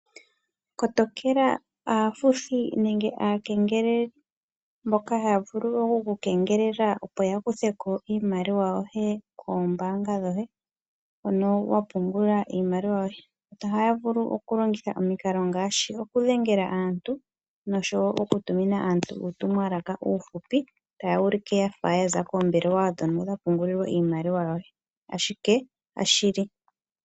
Kotokela aafuthi nenge aakengeleli mboka haya vulu oku kengelela opo yakutheko iimaliwa yoye koombaanga dhoye hono wapungula iimaliwa yoye. Ohaya vulu okulongitha omikalo ngaashi okudhengela aantu noshowo okutumina aantu uutumwalaka uufupi taya ulike yafa yaza koombelewa ndhono dha pungula iimaliwa yoye, ashike kashishi oshili.